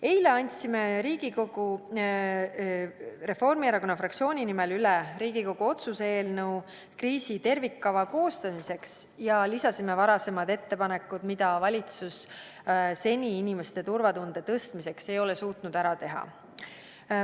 Eile andsime Reformierakonna fraktsiooni nimel üle Riigikogu otsuse eelnõu kriisi tervikkava koostamiseks ja lisasime varasemad ettepanekud, mida valitsus seni inimeste turvatunde tõstmiseks ei ole suutnud ära teha.